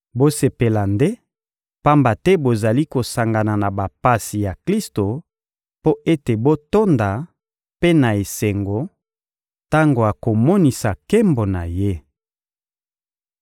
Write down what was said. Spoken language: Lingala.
Bosepela nde, pamba te bozali kosangana na bapasi ya Klisto mpo ete botonda mpe na esengo tango akomonisa nkembo na Ye.